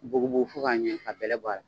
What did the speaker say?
Bugubu fo ka ɲɛ ka bɛlɛ bɔ a la.